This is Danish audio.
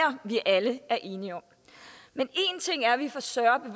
vi alle er enige om men en ting er at vi får større